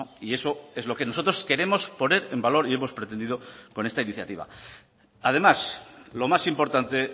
y eso es lo que nosotros queremos poner en valor y hemos pretendido con esta iniciativa además lo más importante